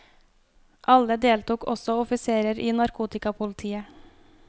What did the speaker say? Alle deltok, også offiserer i narkotikapolitiet.